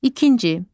İkinci.